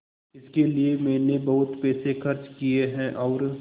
इसके लिए मैंने बहुत पैसे खर्च किए हैं और